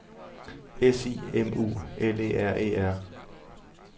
S I M U L E R E R